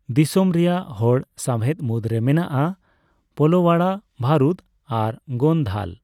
ᱫᱤᱥᱚᱢ ᱨᱮᱭᱟᱜ ᱦᱚᱲ ᱥᱟᱣᱦᱮᱫ ᱢᱩᱫᱽᱨᱮ ᱢᱮᱱᱟᱜᱼᱟ ᱯᱳᱞᱳᱣᱟᱲᱟ, ᱵᱷᱟᱨᱩᱫ ᱟᱨ ᱜᱳᱱᱫᱷᱟᱞ ᱾